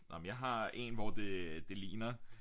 Nåh men jeg har en hvor det det ligner